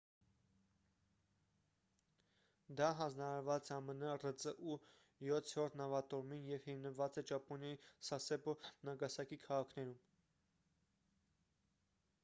դա հանձնարարված է ամն ռծու յոթերորդ նավատորմին և հիմնված է ճապոնիայի սասեբո նագասակի քաղաքներում